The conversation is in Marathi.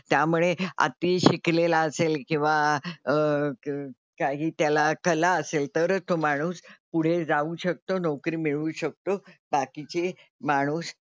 त्यामुळे अति शिकलेला असेल किंवा अह क काही त्याला कला असेल तरच तो माणूस पुढे जाऊ शकतो नोकरी मिळवू शकतो. बाकीची माणूस,